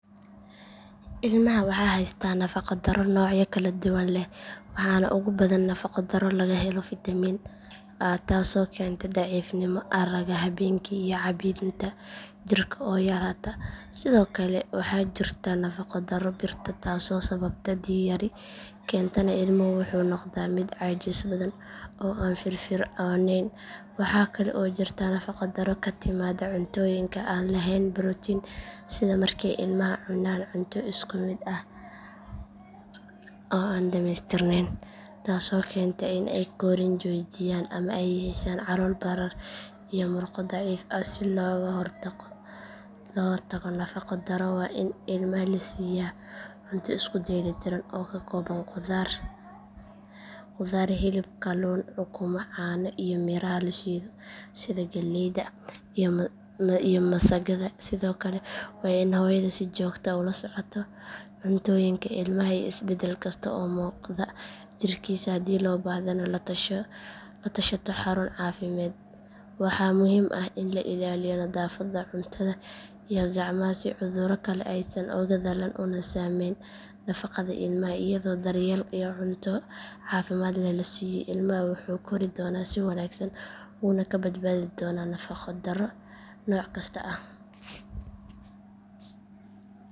Ilmaha waxa haysata nafaqo darro noocyo kala duwan leh waxaana ugu badan nafaqo darro laga helo fitamiin a taasoo keenta daciifnimo aragga habeenkii iyo caabbinta jirka oo yaraata sidoo kale waxaa jirta nafaqo darro birta taasoo sababta dhiig yari keentana ilmuhu wuxuu noqdaa mid caajis badan oo aan firfircoonayn waxaa kale oo jirta nafaqo darro ka timaadda cuntooyinka aan lahayn borotiin sida markay ilmaha cunaan cunto isku mid ah oo aan dhammaystirnayn taasoo keenta in ay korriin joojiyaan ama ay yeeshaan calool barar iyo murqo daciif ah si looga hortago nafaqo darro waa in ilmaha la siiyaa cunto isku dheellitiran oo ka kooban qudaar khudaar hilib kalluun ukumo caano iyo miraha la shiido sida galleyda iyo masagada sidoo kale waa in hooyada si joogto ah ula socoto cuntooyinka ilmaha iyo isbeddel kasta oo muuqda jirkiisa haddii loo baahdana la tashato xarun caafimaad waxaa muhiim ah in la ilaaliyo nadaafadda cuntada iyo gacmaha si cudurro kale aysan uga dhalan una saameyn nafaqada ilmaha iyadoo daryeel iyo cunto caafimaad leh la siiyo ilmaha wuxuu kori doonaa si wanaagsan wuuna ka badbaadi doonaa nafaqo darro nooc kasta ah